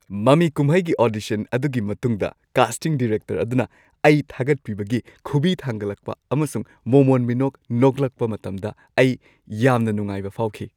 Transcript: ꯃꯃꯤ ꯀꯨꯝꯍꯩꯒꯤ ꯑꯣꯗꯤꯁꯟ ꯑꯗꯨꯒꯤ ꯃꯇꯨꯡꯗ ꯀꯥꯁꯇꯤꯡ ꯗꯤꯔꯦꯛꯇꯔ ꯑꯗꯨꯅ ꯑꯩ ꯊꯥꯒꯠꯄꯤꯕꯒꯤ ꯈꯨꯕꯤ ꯊꯥꯡꯒꯠꯂꯛꯄ ꯑꯃꯁꯨꯡ ꯃꯣꯃꯣꯟ-ꯃꯤꯅꯣꯛ ꯅꯣꯛꯂꯛꯄ ꯃꯇꯝꯗ ꯑꯩ ꯌꯥꯝꯅ ꯅꯨꯡꯉꯥꯏꯕ ꯐꯥꯎꯈꯤ ꯫